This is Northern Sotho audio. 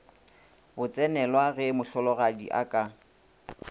botsenelwa ge mohlologadi a ka